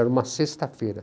Era uma sexta-feira.